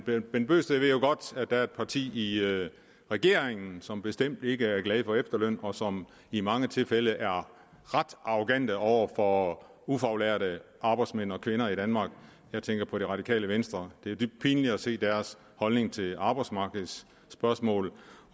bent bøgsted ved jo godt at der er et parti i regeringen som bestemt ikke er glade for efterløn og som i mange tilfælde er ret arrogante over for ufaglærte arbejdsmænd og kvinder i danmark jeg tænker på det radikale venstre det er dybt pinligt at se deres holdning til arbejdsmarkedsspørgsmål